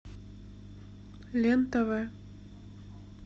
лен тв